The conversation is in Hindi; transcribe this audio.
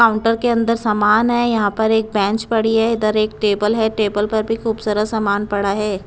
काउंटर के अंदर सामान है यहां पर एक बेंच पड़ी है इधर एक टेबल है टेबल पर भी खूब सारा सामान पड़ा है।